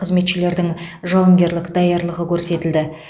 қызметшілердің жауынгерлік даярлығы көрсетілді